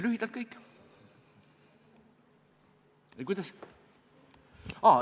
Lühidalt kõik.